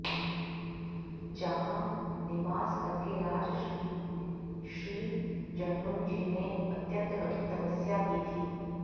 जहां निवास करके राजर्षि श्री जह्नुजीने अत्यन्त कठिन तपस्या की थी